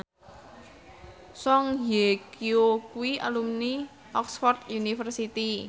Song Hye Kyo kuwi alumni Oxford university